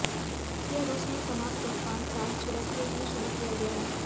यह रूस में समाप्त पकवान साग छिड़क के लिए शुरू किया है